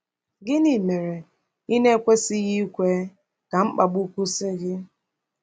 Gịnị mere ị na-ekwesịghị ikwe ka mkpagbu kwụsị gị?